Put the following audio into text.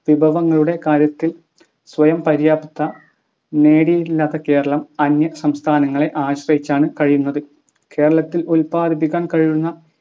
വിഭവങ്ങളുടെ കാര്യത്തിൽ സ്വയംപര്യാപ്തത നേടിയില്ലാത്ത കേരളം അന്യ സംസ്ഥാനങ്ങളെ ആശ്രയിച്ചാണ് കഴിയുന്നത് കേരളത്തിൽ ഉൽപ്പാദിപ്പിക്കാൻ കഴിയുന്ന